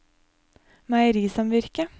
meierisamvirket